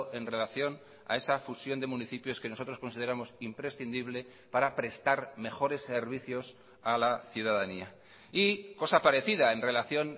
en relación a esa fusión de municipios que nosotros consideramos imprescindible para prestar mejores servicios a la ciudadanía y cosa parecida en relación